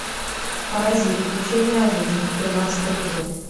паразит учение о жизни тринадцатый эпизод